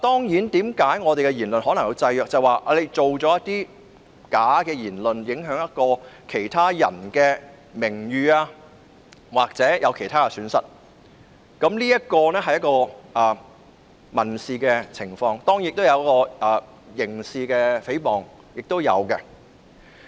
因為有人可能會製造虛假的言論，影響其他人的名譽或導致其他損失，屬民事訴訟的範疇，而當然亦有涉及刑事成分的誹謗。